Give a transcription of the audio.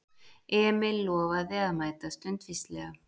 Emil lofaði að mæta stundvíslega.